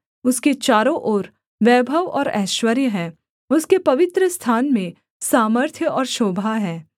उसके चारों ओर वैभव और ऐश्वर्य है उसके पवित्रस्थान में सामर्थ्य और शोभा है